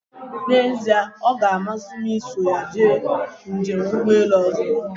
N'ezie ọga amasị m iso ya mee njem ụgbọelu ọzọ.